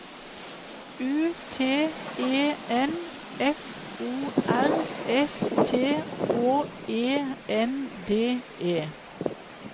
U T E N F O R S T Å E N D E